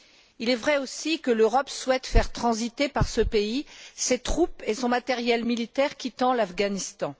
Il est vrai aussi que l'Europe souhaite faire transiter par ce pays ses troupes et son matériel militaire quittant l'Afghanistan.